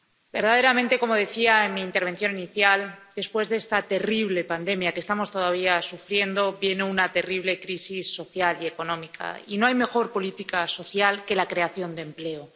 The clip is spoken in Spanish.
Verdaderamente, como decía en mi intervención inicial, después de esta terrible pandemia que estamos todavía sufriendo, viene una terrible crisis social y económica, y no hay mejor política social que la creación de empleo.